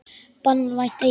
Banvænt eitur.